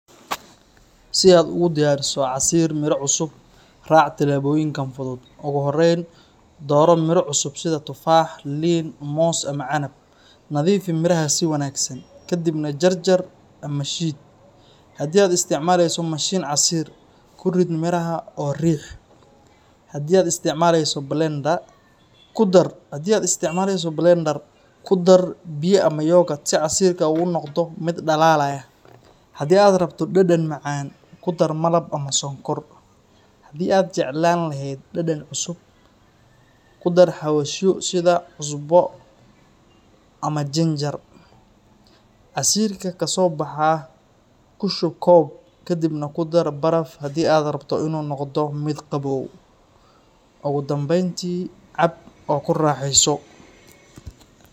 Si aad ugu diyaariso casiir miro cusub, raac talaabooyinkan fudud. Ugu horreyn, dooro miro cusub sida tufaax, liin, moos, ama canab. Nadiifi miraha si wanaagsan, ka dibna jarjar ama shiidi. Haddii aad isticmaalayso mashiin casiir, ku rid miraha oo riix. Haddii aad isticmaalayso shidoo, ku dar biyo ama garor si casiirka uu u noqdo mid dhalaalaya. Haddii aad rabto dhadhan macaan, ku dar malab ama sonkor. Haddii aad jeclaan lahayd dhadhan cusub, ku dar xawaashyo sida cusbo ama sinjiwil. Casiirka ka soo baxa ku shub koob, kadibna ku dar baraf haddii aad rabto in uu noqdo mid qabow. Ugu dambeyntii, cab oo ku raaxeyso.